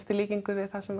í líkingu við það sem